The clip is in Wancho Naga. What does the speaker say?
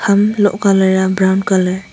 umm loh colour aa brown colour .